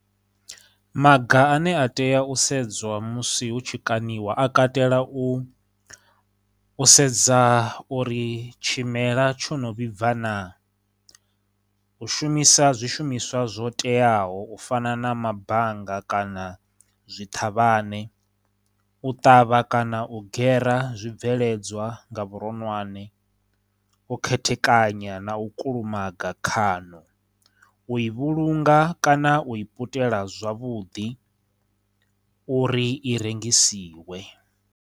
Maga ane a tea u sedzwa musi hu tshikaṋiwa a katela u, u sedza uri tshimela tsho no vhibva na, u shumisa zwishumiswa zwo teaho u fana na mabanga kana zwiṱhavhane, u ṱavha kana u gere zwibveledzwa nga vhuronwane, u khethekanya na u kulumaga khano, u i vhulunga kana u i putela zwavhuḓi uri i rengisiwe.